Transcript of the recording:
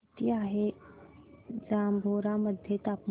किती आहे जांभोरा मध्ये तापमान